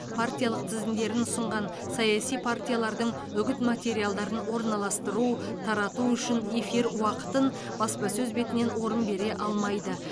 партиялық тізімдерін ұсынған саяси партиялардың үгіт материалдарын орналастыру тарату үшін эфир уақытын баспасөз бетінен орын бере алмайды